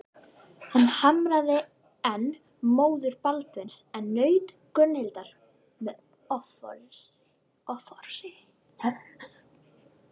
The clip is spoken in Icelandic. Hann harmaði enn móður Baldvins en naut Gunnhildar með offorsi.